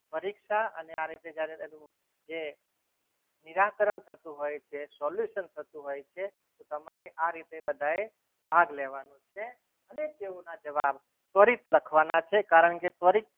પરીક્ષા અને આ રીતે જ્યારે તેનું જે નિરાકરણ થતું હોય છે solution થતું હોય છે તો તમારે આ રીતે બધાએ ભાગ લેવાનો છે ઠીક છે અને તેઓના જવાબ ત્વરિત લખવાના છે કારણ કે ત્વરિત